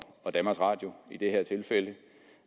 og danmarks radio i det her tilfælde